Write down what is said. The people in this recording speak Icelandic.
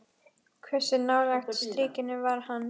Hversu nálægt strikinu var hann?